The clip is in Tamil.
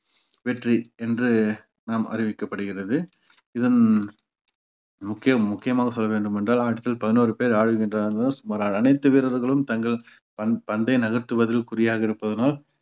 வெற்றி என்று நாம் அறிவிக்கப்படுகிறது இதன் முக்கியம் முக்கியமாக சொல்ல வேண்டும் என்றால் அடுத்தது பதினோரு பேர் ஆடுகின்றனர் சுமார் அனைத்து வீரர்களும் தங்கள் பந்~ பந்தை நகர்த்துவதில் குறியாக இருப்பதனால்